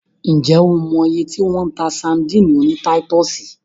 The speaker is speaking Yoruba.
Ǹ jẹ́ o mọ iye tí wọ́n ń ta sadíìnì oní táítọ̀sì?